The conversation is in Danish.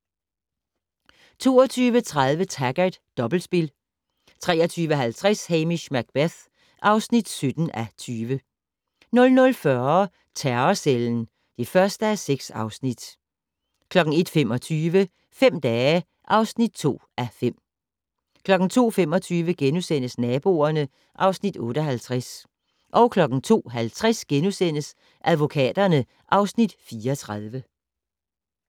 22:30: Taggart: Dobbeltspil 23:50: Hamish Macbeth (17:20) 00:40: Terrorcellen (1:6) 01:25: Fem dage (2:5) 02:25: Naboerne (Afs. 58)* 02:50: Advokaterne (Afs. 34)*